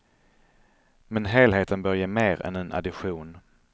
Men helheten bör ge mer än en addition.